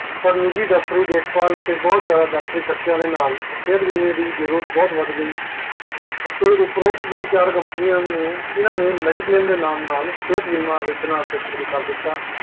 ਪਰ ਨਿੱਜੀ ਡਕਟੋਰੀ ਦੇਖ ਬਾਲ ਅਤੇ ਬੋਹਤ ਜਾਅਦਾ ਡਕਟੋਰੀ ਖਰਚੇ ਦੇ ਨਾਲ ਬਹੁਤਵੱਧ ਗਈ ਅਤੇ ਉਪਰੋਟ ਜੇਹੜੀ ਚਾਰ companies ਤੇ ਇਹਨਾਂ ਨੇ mediclaim ਨਾਲ ਸੇਹਤ ਬੀਮਾ ਵੇਹਚਣਾ ਸ਼ੁਰੂ ਕਰਤਾ